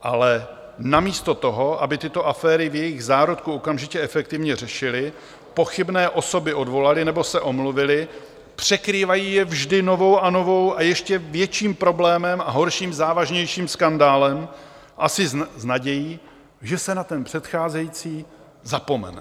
Ale namísto toho, aby tyto aféry v jejich zárodku okamžitě efektivně řešili, pochybné osoby odvolali nebo se omluvili, překrývají je vždy novou a novou, a ještě větším problémem a horším, závažnějším skandálem, asi s nadějí, že se na ten předcházející zapomene.